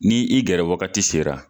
Nin i gɛrɛ wagati sera.